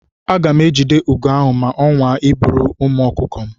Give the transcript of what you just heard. Aga m ejide ugo ahụ ma ọ nwaa iburu ụmụ ọkụkọ m.